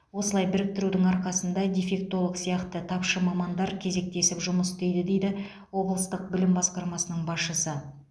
осылай біріктірудің арқасында дефектолог сияқты тапшы мамандар кезектесіп жұмыс істейді дейді облыстық білім басқармасының басшысы